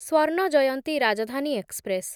Swarna Jayanti Rajdhani express